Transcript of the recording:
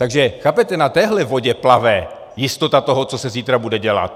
Takže chápete, na téhle vodě plave jistota toho, co se zítra bude dělat.